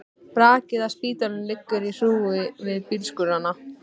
Brakið af spítalanum liggur í hrúgu við bílskúrana.